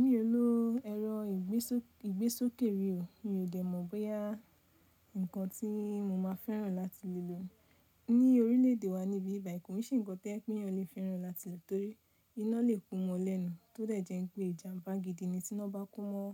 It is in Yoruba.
Mi ò lo ẹ̀rọ ìgbésókè rí ò, mi ò dè mọ̀ bóyá nǹkan tí mo máa fẹ́ràn láti lè lò ni ni orílẹ̀-èdè wa níbí ibi báyìí, kò ń ṣe ǹkan tó jẹ́ pé èèyàn lè fẹ́ràn láti lo torí iná lè kú mọ́ lẹ́nu tó dẹ̀ jẹ́ wípé ìjàmbá gidi ni tí iná bá kú mọ́